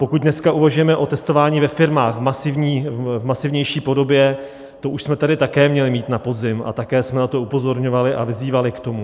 Pokud dneska uvažujeme o testování ve firmách v masivnější podobě, to už jsme tady také měli mít na podzim a také jsme na to upozorňovali a vyzývali k tomu.